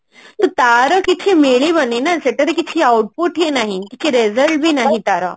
ତାର କିଛି ମିଳିବନି ନା ସେଟା ରେ କିଛି output ହିଁ ନାହିଁ କିଛି result ବି ନାହିଁ ତାର